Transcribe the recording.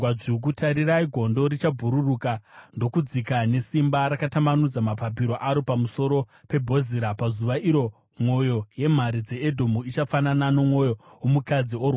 Tarirai gondo richabhururuka ndokudzika nesimba, rakatambanudza mapapiro aro pamusoro peBhozira. Pazuva iro mwoyo yemhare dzeEdhomu ichafanana nomwoyo womukadzi orwadziwa.